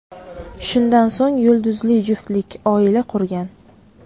Shundan so‘ng yulduzli juftlik oila qurgan.